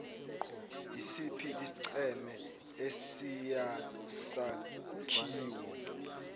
isiphi isigceme esiyisakhiwo